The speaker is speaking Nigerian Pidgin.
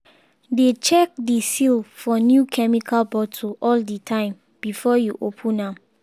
dey check the seal for new chemical bottle all the time before you open am.